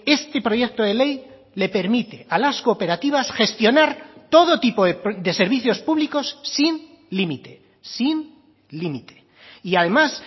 este proyecto de ley le permite a las cooperativas gestionar todo tipo de servicios públicos sin límite sin límite y además